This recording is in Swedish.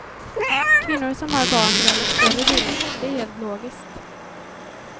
Kvinnor som har barn väljer större bilar, det är helt logiskt.